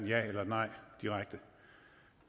ja eller et nej direkte